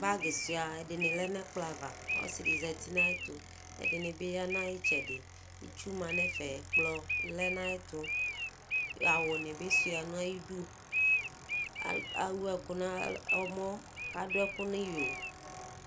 Bag suia ɛdini lɛnʋ ɛkplɔ ava ɔsidi zati nʋ ayʋ ɛtʋ ɛdini bi yanʋ ayʋ itsɛdi itsʋ manʋ ɛfɛ ɛkplɔ lɛnʋ ayʋ ɛtʋ awʋ ni bi suia nʋ ayʋ idʋ ewʋ ɛkʋ nʋ ɔmɔ kʋ adʋ ɛkʋ nʋ iyo